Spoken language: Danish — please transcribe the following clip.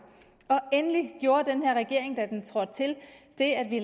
endelig gjorde den her regering da den trådte til det at vi